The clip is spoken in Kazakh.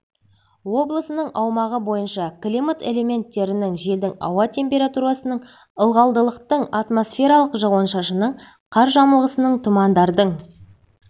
облысының аумағы бойынша климат элементтерінің желдің ауа температурасының ылғалдылықтың атмосфералық жауын-шашынның қар жамылғысының тұмандардың